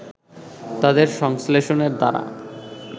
তাদের সংশ্লেষণের দ্বারা